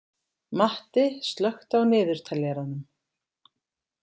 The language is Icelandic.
Matti, slökktu á niðurteljaranum.